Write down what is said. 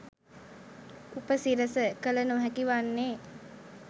උපසිරස . කල නොහැකි වන්නේ